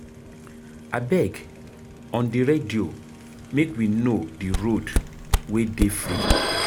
Abeg on di radio make we know di road wey dey free.